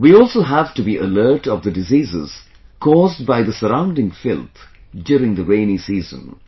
We also have to be alert of the diseases caused by the surrounding filth during the rainy season